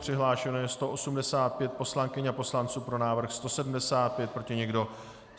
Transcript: Přihlášeno je 185 poslankyň a poslanců, pro návrh 175, proti nikdo.